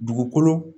Dugukolo